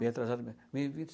Bem atrasado mesmo.